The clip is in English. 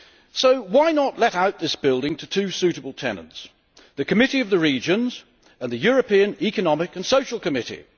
So why not let out this building to two suitable tenants the Committee of the Regions, and the European Economic and Social Committee?